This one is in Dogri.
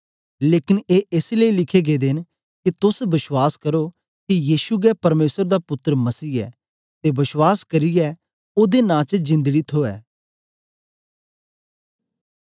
लेकन ए एस लेई लिखे गेदे न के तोस बश्वास करो के यीशु गै परमेसर दा पुत्तर मसीह ऐ ते बश्वास करियै ओदे नां च जिंदड़ी थूऐ